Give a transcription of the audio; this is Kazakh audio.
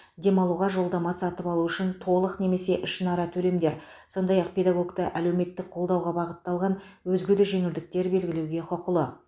демалуға жолдама сатып алу үшін толық немесе ішінара төлемдер сондай ақ педагогті әлеуметтік қолдауға бағытталған өзге де жеңілдіктер белгілеуге құқылы